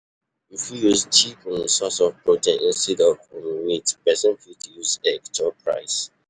You fit use cheap um source of protein eg instead of um meat, person fit use egg chop rice